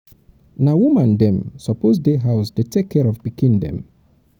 na woman dem suppose dey house dey take care of pikin dem.